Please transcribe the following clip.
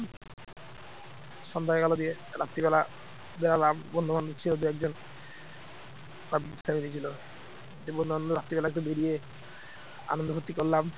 দিয়ে বন্ধুবান্ধব রাত্রিবেলা একটু বেরিয়ে আনন্দ ফুর্তি করলাম